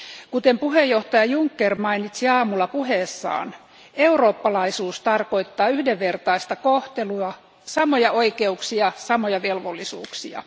Kuten puheenjohtaja Juncker mainitsi aamulla puheessaan, eurooppalaisuus tarkoittaa yhdenvertaista kohtelua, samoja oikeuksia, samoja velvollisuuksia.